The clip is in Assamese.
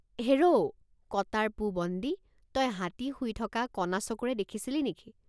হেৰ ঔ কটাৰ পো বন্দী তই হাতী শুই থকা কণ৷ চকুৰে দেখিছিলি নেকি?